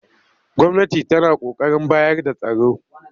Gwamnati tana ƙoƙarin bayar da tsaro